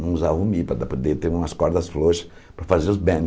Não usar o mi para poder ter umas cordas floxas para fazer os bends.